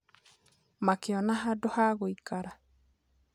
Makĩona handũ ha gũikara